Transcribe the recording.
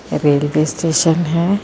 ਐ railway station ਹੈ।